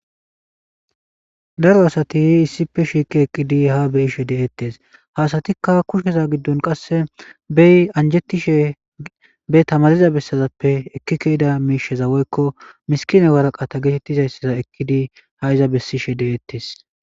Daro asati issipe shiiki eqqidi ha beyishe de'ettes hasatikka kusheza giddon qasse bey anjetishe be tamariza bessazappe ekkikeyida miisheza weykko miskine waraqata geetettizayssaza ekkidi ha iza bessishe de'ettes.